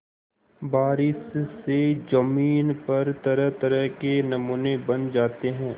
बारिश से ज़मीन पर तरहतरह के नमूने बन जाते हैं